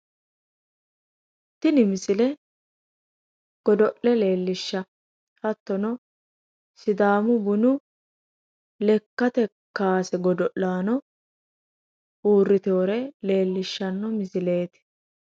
Tini misile godo'le leellishanno misileeti hattono sidaamu bunu lekkate kaase godo'laano uurritewore leellishanno misilreti